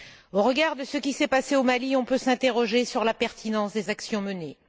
Au regard de ce qui s'est passé au Mali, on peut s'interroger sur la pertinence des actions menées.